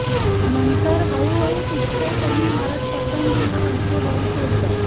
नंतर हळूहळू टिचक्या कमी मारत पतंगीला हलके वर सोडलं